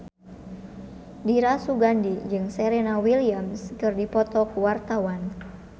Dira Sugandi jeung Serena Williams keur dipoto ku wartawan